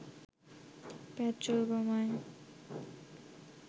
petrol বোমায়